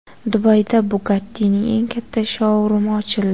Dubayda Bugatti’ning eng katta shou-rumi ochildi .